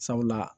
Sabula